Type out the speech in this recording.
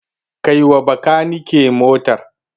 Kai wa Bakanike motar.